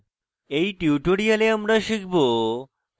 in tutorial আমরা শিখব: